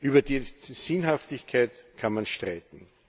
Über die Sinnhaftigkeit kann man streiten.